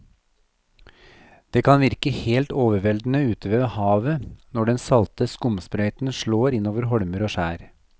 Det kan virke helt overveldende ute ved havet når den salte skumsprøyten slår innover holmer og skjær.